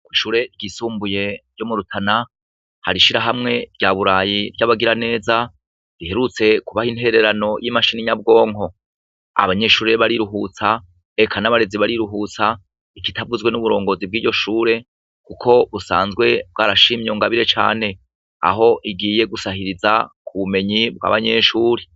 Ishure ryisumbuye ryo murutana harishirahamwe rya burayi ryabagira neza riherutse kubaha intererano ryimashine nyabwonko abanyeshure bariruhutsa eka nabarezi bariruhutsa ikitavuzwe nuburongozi bwiryo shure uko usanzwe bwarashimye iyo ngabire cane aho igiye gusabiriza ubumenyi bwabanyeshure